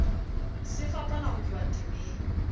se fapana ho tloha temeng